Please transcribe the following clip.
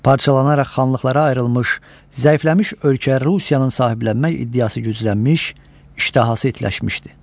Parçalanaraq xanlıqlara ayrılmış, zəifləmiş ölkələri Rusiyanın sahiblənmək iddiası güclənmiş, iştahası itiləşmişdi.